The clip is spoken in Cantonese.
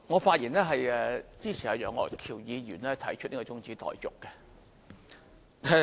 主席，我發言支持楊岳橋議員提出的中止待續議案。